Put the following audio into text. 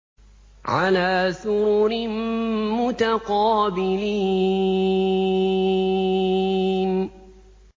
عَلَىٰ سُرُرٍ مُّتَقَابِلِينَ